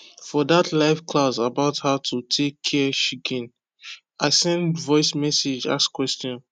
for dat live class about how to take care chicken i send voice message ask question